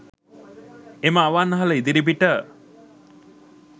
එ‍ම ‍අ‍වන්‍හ‍ල ‍ඉ‍දි‍රි‍පි‍ට